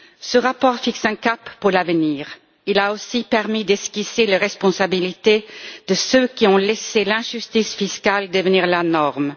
Ce rapport fixe un cap pour l'avenir, il a aussi permis d'esquisser les responsabilités de ceux qui ont laissé l'injustice fiscale devenir la norme.